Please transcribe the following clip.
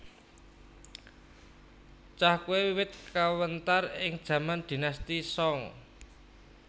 Cahkwe wiwit kawentar ing jaman Dinasti Song